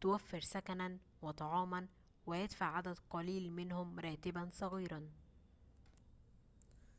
توفر سكناً وطعاماً ويدفع عدد قليل منهم راتباً صغيراً